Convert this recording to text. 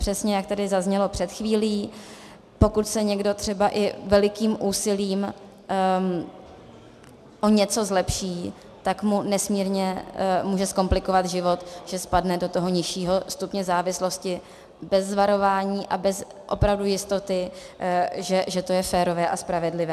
Přesně jak tady zaznělo před chvílí, pokud se někdo třeba i velikým úsilím o něco zlepší, tak mu nesmírně může zkomplikovat život, že spadne do toho nižšího stupně závislosti bez varování a bez opravdu jistoty, že to je férové a spravedlivé.